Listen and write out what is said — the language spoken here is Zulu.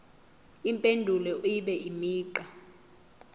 impendulo ibe imigqa